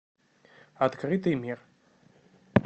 открытый мир